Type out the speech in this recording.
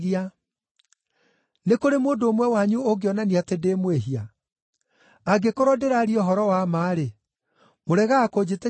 Nĩ kũrĩ mũndũ ũmwe wanyu ũngĩonania atĩ ndĩ mwĩhia? Angĩkorwo ndĩraria ũhoro wa ma-rĩ, mũregaga kũnjĩtĩkia nĩkĩ?